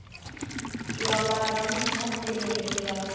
Ég var bara rígmontin yfir því að